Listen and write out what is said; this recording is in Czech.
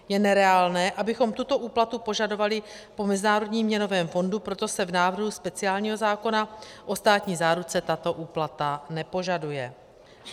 Je nereálné, abychom tuto úplatu požadovali po Mezinárodním měnovém fondu, proto se v návrhu speciálního zákona o státní záruce tato úplata nepožaduje.